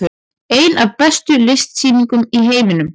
Ein af bestu listsýningum í heiminum